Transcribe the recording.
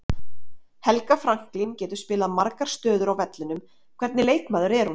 Helga Franklín getur spilað margar stöður á vellinum, hvernig leikmaður er hún?